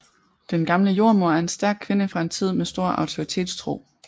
Den gamle jordemoder er en stærk kvinde fra en tid med stor autoritetstro